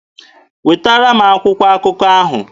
Wetara m akwụkwọ akụkọ ahụ!